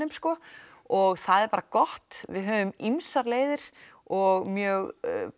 sko og það er bara gott við höfum ýmsar leiðir og mjög